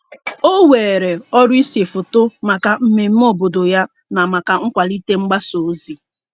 O weere ọrụ ise foto maka mmemme obodo ya na maka nkwalite mgbasa ozi.